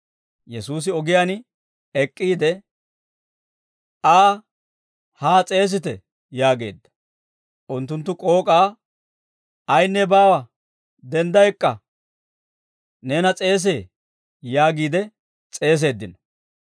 Yesuusi ogiyaan ek'k'iide, «Aa haa s'eesite» yaageedda. Unttunttu k'ook'aa, «Ayinne baawa; dendda ek'k'a; neena s'eesee» yaagiide s'eeseeddino.